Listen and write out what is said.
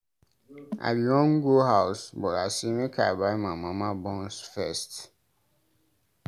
I bin wan go house but I say make I buy my mama buns first.